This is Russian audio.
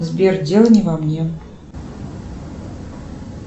сбер дело не во мне